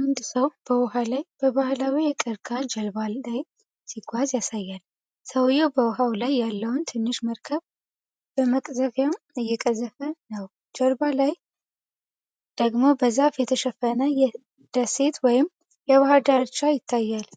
አንድ ሰው በውሃ ላይ በባህላዊ የቀርከሃ ጀልባ ላይ ሲጓዝ ያሳያል። ሰውየው በውሃው ላይ ያለውን ትንሽ መርከብ በመቅዘፊያ እየገፋ ነው። ጀርባ ላይ ደግሞ በዛፍ የተሸፈነ ደሴት ወይም የባሕር ዳርቻ ይታያል።